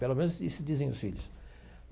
Pelo menos, isso dizem os filhos.